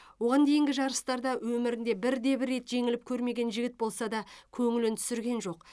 оған дейінгі жарыстарда өмірінде бірде бір рет жеңіліп көрмеген жігіт болса да көңілін түсірген жоқ